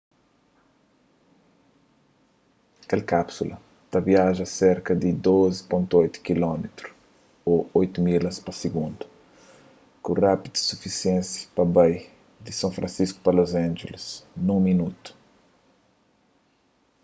kel kápsula ta viaja serka di 12,8 km ô 8 milhas pa sigundu ku rápides sufisienti pa bai di son fransisku a los angeles nun minotu